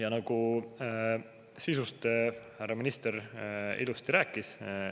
Eelnõu sisust härra minister ilusti juba rääkis.